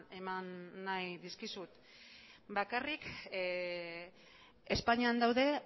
eman nahi dizkizut bakarrik espainian daude